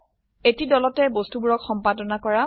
এটি দলতে বস্তুবোৰক সম্পাদনা কৰা